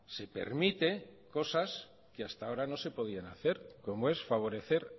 se permite cosas que hasta ahora no se podían hacer como es favorecer